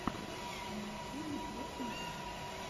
на ютьюбе дерти монк